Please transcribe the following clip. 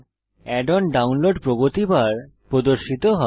add on download প্রগতি bar প্রদর্শিত হয়